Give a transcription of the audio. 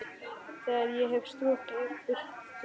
Þegar ég hef strokið burt dimmuna.